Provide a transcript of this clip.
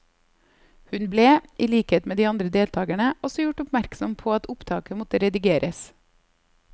Hun ble, i likhet med de andre deltagerne, også gjort oppmerksom på at opptaket måtte redigeres.